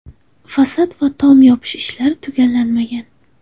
Fasad va tom yopish ishlari tugallangan.